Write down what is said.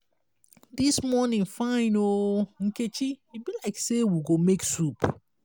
dis morning fine oo nkechi e be like say we go make soup